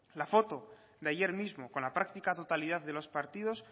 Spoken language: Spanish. la foto de ayer mismo con la práctica totalidad de los partidos